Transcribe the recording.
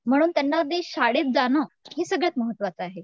म्हणून त्यांना अगदी शाळेत जाणं हे सगळ्यात महत्वाचं आहे.